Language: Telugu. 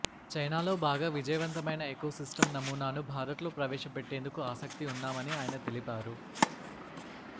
చైనాలో బాగా విజయవంతమైన ఎకోసిస్టం నమూనాను భారత్లో ప్రవేశపెట్టేందుకు ఆసక్తి ఉన్నామని ఆయన తెలిపారు